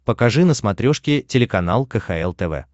покажи на смотрешке телеканал кхл тв